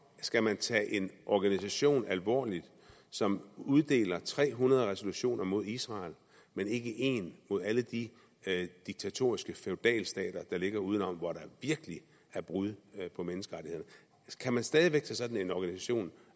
skal tage en organisation alvorligt som uddeler tre hundrede resolutioner mod israel men ikke én mod alle de diktatoriske feudalstater der ligger udenom og hvor der virkelig er brud på menneskerettighederne kan man stadig væk tage sådan en organisation